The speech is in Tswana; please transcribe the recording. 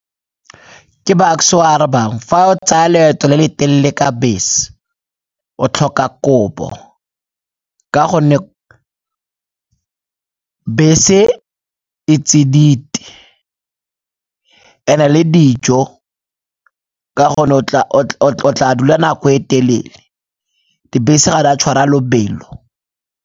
Ke Bucks-e o a arabang, fa o tsaya leeto le le telele ka bese o tlhoka kobo ka gonne bese e tsididi and-e le dijo o tla tla dula nako e telele, dibese ga di a tshwara lobelo.